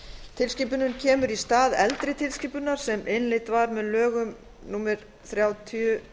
tilskipunin kemur í stað eldri tilskipunar sem innleidd var með lögum númer þrjátíu